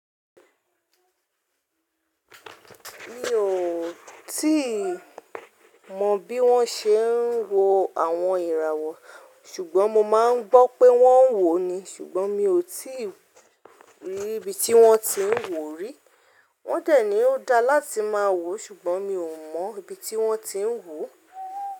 Mi ò tíì mọ bí wọ́n ṣe ń wo àwọn ìràwọ̀, ṣùgbọ́n mo máa ń gbọ́ pé wọ́n ń wò ó ni. Ṣùgbọ́n mi ò tíì rí ibi tí wọ́n ti ń wò ó rí. Wọ́n dẹ̀ ní ó dáa láti máa wò, ṣùgbọ́n mi ò mọ̀ ibi tí wọ́n ti ń wò ó.